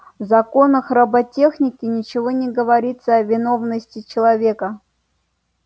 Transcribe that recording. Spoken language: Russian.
в законах роботехники ничего не говорится о виновности человека